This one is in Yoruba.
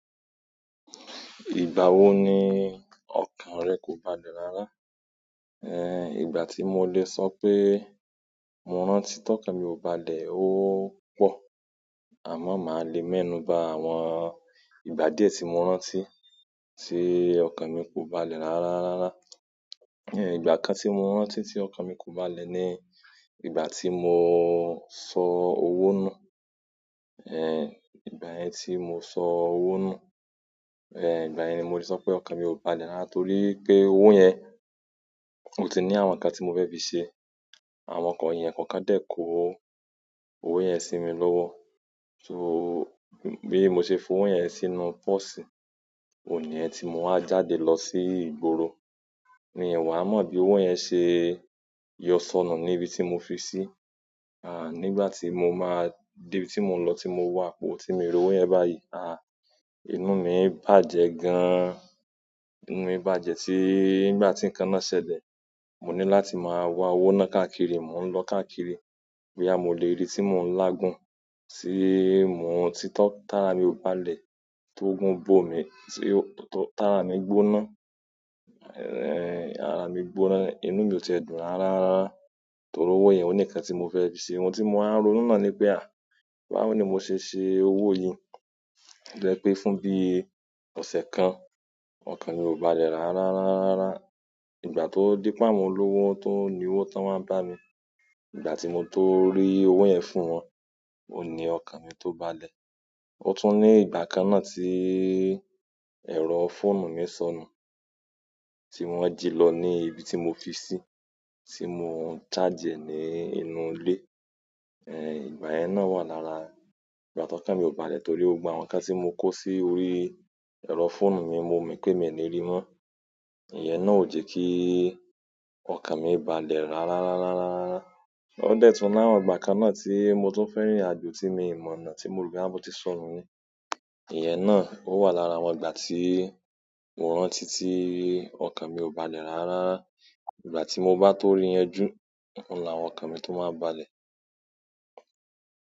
Ìgbà wo ni ọkàn rẹ kò balẹ̀ rárá? Eh, ìgbà tí mo lè sọ pé mo rántí tí ọkàn mi ò balẹ̀ ó pọ̀, àmọ́ màá le mẹ́nùú bá àwọn ìgbà díẹ̀ tí mo rántí tí ọkàn mi kò balẹ̀ rárá, rárá. Eh, ìgbà kan tí mo rántí tí ọkàn mi kò balẹ̀ ni ìgbà tí mo sọ owó nù. Eh, ìgbà yẹn tí mo sọ owó nù. Eh, ìgbà yẹn ni mo lè sọ pé ọkàn mi ò balẹ̀ rárá torí pé owó yẹn ò tí ì ní àwọn ǹkan tí mo fẹ́ fi ṣe. Àwọn eyan kankan de ko owo yen si mi lowo, so bi mo se fi owo yen sínú posi, mo wa jáde lo si ìgboro mi wa mo bi owo yen se yo sonu nibi ti mo fisi. À nígbà tí mo máa dé ibi tí mò ń lọ tí mo wà pó tí mo rí owó yẹn báyìí, à inú mi bàjẹ́ gan-an. Inú mi bàjẹ́ tí ngbà tí nǹkan náà ṣẹlẹ̀, mo ní láti máa wá owó náà káàkiri, mò ń lọ káàkiri. Boya mò lèrí tí mò ń lágun tí mo tito tara mi ò balẹ̀, tó gun gbó mi, tí t-tára mi gbóná. Ara mi gbóná inú mi o ti e dùn rara torí owo yen oni nkan ti mo fe fi se. Ohun tí mo wá nró nu nàá ni pé à. Báwo ni mose se owo yi? To je pe fún bi ose kan okan mi o balẹ̀ rara rara. Ìgbà tó dípe àwọn tó ni owó tán wá bá mi, ìgbà tí mo tó rí owó yẹn fún wọn, oun ní ọkàn mi tó balẹ̀. Ó tún ní ìgbà kan náà tí ẹ̀rọ fóònù mi sọnù tí wọ́n jí lọ ní ibi tí mo fi sí, tí mo charge ẹ̀ ní inú ilé. Eh, ìgbà yẹn náà wà lára ìgbà tó ọkàn mi ò balẹ̀ torí gbogbo àwọn ǹkan tí mo kó sí orí ẹ̀rọ fóònù mi, mo mọ̀ pé mi ò ní rí wọ́n. Ìyẹn náà ò jẹ́ kí ọkàn mi balẹ̀ rárá, rárá, rárá, rárá. Ó dẹ̀ tún láwọn ìgbà kan náà tí mo tó fẹ́ rìnrìn àjò tí mo mọ̀nà tí mo rò pé á mú tí sọnù ni. Ìyẹn náà ó wà lára àwọn ìgbà tí mo rántí tí ọkàn mi ò balẹ̀ rárá rara. Ìgbà tí mo bá tó rí yan jù, òun là won ọkàn mi tó máa n balẹ̀.